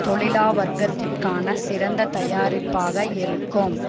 தொழிலா வர்க்கத்திற்கான சிறந்த தயாரிப்பாக இருக்கும்